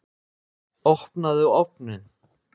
Opnaðu ofninn!